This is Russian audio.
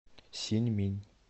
синьминь